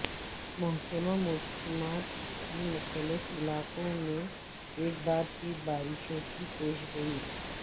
محکمہ موسمیات کی مختلف علاقوں میں ایک بار پھر بارشوں کی پیشگوئی